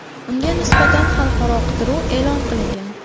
Unga nisbatan xalqaro qidiruv e’lon qilingan .